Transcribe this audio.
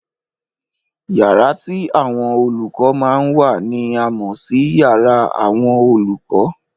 Yàrá tí àwọn olùkọ́ máa ń wà ni a mọ̀ sí yàrá àwọn olùkọ́.